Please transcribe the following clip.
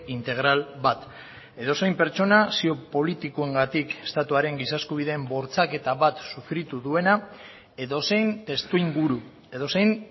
integral bat edozein pertsona zio politikoengatik estatuaren giza eskubideen bortxaketa bat sufritu duena edozein testuinguru edozein